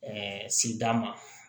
sigida ma